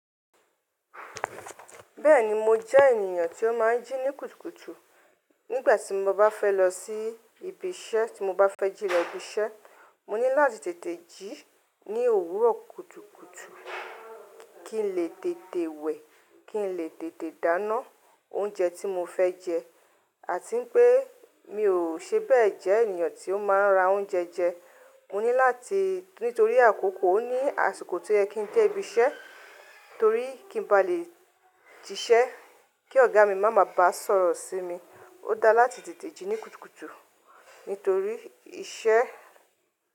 Bẹ́ẹ̀ni mo jẹ́ ènìyàn tó máa ń jí ní kùtùkùtù. Nígbà tí mo bá fẹ́ lọ sí ibi iṣẹ́, tí mo bá fẹ́ jí lọ ibi iṣẹ́, mo ní láti tètè jí ní òwúrọ̀ kùtùkùtù kí n lè tètè wẹ̀, kí n lè tètè dáná oúnjẹ tí mo fẹ́ jẹ. Àti pé mi ò ṣe bẹ́ẹ̀ jẹ́ ènìyàn tí ó máa ra oúnjẹ jẹ. Mo ní láti nítorí àkókò ó ní àsìkò tí ó yẹ kin dé ibi iṣẹ́ torí kí n ba lè ṣiṣẹ́ kí ọ̀gá mi má mà bá sọ̀rọ̀ sí mi. Ó dáa láti tètè jí ní kùtùkùtù nítorí iṣẹ́